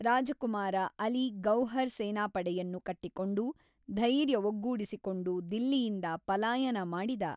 ರಾಜಕುಮಾರ ಅಲಿ ಗೌಹರ್ ಸೇನಾಪಡೆಯನ್ನು ಕಟ್ಟಿಕೊಂಡು, ಧೈರ್ಯ ಒಗ್ಗೂಡಿಸಿಕೊಂಡು ದಿಲ್ಲಿಯಿಂದ ಪಲಾಯನ ಮಾಡಿದ.